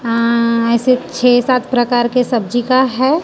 अं ऐसे छे सात प्रकार का सब्जी का है।